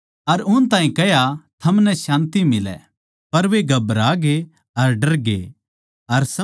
पर वे घबरागे अर डरगै अर समझे के हम किसे भुत नै देक्खां सां